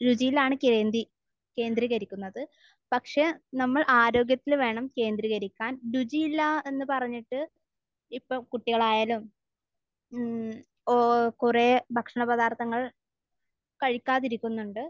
രുചിയിലാണ് കേന്ദ്രീ...കേന്ദ്രീകരിക്കുന്നത്. പക്ഷെ നമ്മൾ ആരോഗ്യത്തിൽ വേണം കേന്ദ്രീകരിക്കാൻ. രുചിയില്ല എന്ന് പറഞ്ഞിട്ട് ഇപ്പോൾ കുട്ടികളായാലും മമ്മ്മ് ഓ കുറേ ഭക്ഷണപദാർത്ഥങ്ങൾ കഴിക്കാതിരിക്കുന്നുണ്ട്.